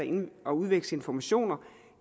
at udveksle informationer